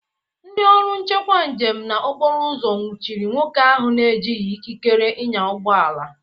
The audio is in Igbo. Ndị ọrụ nchekwu njem na okporoụzọ nwuchiri nwoke ahụ na-ejighi ikikere ịnya ụgbọala.